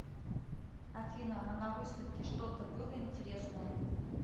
афина а на выставке что то было интересное